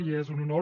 i és un honor